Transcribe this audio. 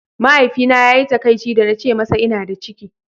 Mahaifina ya yi takaici da na ce masa ina da ciki.